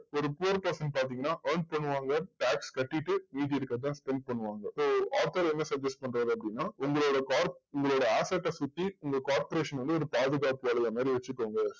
ஒரு poor person பாத்தீங்கன்னா earn பண்ணுவாங்க. tax கட்டிட்டு மீதி இருக்கறத தான் spend பண்ணுவாங்க. so author என்ன suggest பண்றார் அப்படின்னா உங்களோட corp~ உங்களோட asset அ சுத்தி உங்க corporation வந்து ஒரு பாதுகாப்பு வளையம் மாதிரி வச்சுக்கோங்க.